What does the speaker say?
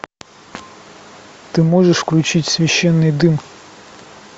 ты можешь включить священный дым